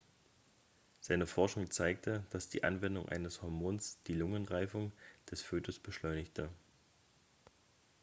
seine forschung zeigte dass die anwendung eines hormons die lungenreifung des fötus beschleunigte